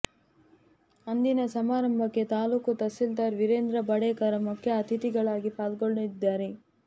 ಅಂದಿನ ಸಮಾರಂಭಕ್ಕೆ ತಾಲ್ಲೂಕು ತಹಸೀಲ್ದಾರ್ ವೀರೇಂದ್ರ ಬಾಡೇಕರ್ ಮುಖ್ಯ ಅತಿಥಿಗಳಾಗಿ ಪಾಲ್ಗೊಳ್ಳಲಿದ್ದಾರೆ